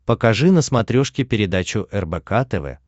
покажи на смотрешке передачу рбк тв